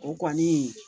O kɔni